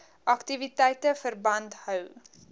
aktiwiteite verband hou